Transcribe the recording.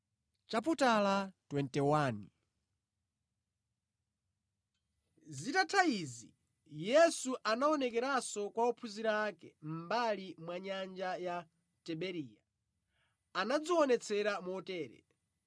Zitatha izi Yesu anaonekeranso kwa ophunzira ake, mʼmbali mwa nyanja ya Tiberiya. Anadzionetsera motere: